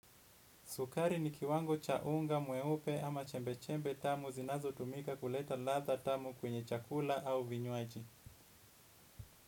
Sukari ni kiwango cha unga mweupe ama chembe-chembe tamu zinazotumika kuleta ladha tamu kwenye chakula au vinywaji.